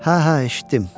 Hə, hə, eşitdim.